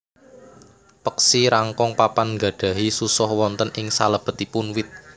Peksi rangkong papan nggadhahi susoh wonten ing salebetipun wit